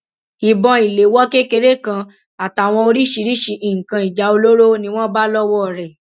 ìbọn ìléwọ kékeré kan àtàwọn oríṣiríṣiì nǹkan ìjà olóró ni wọn bá lọwọ rẹ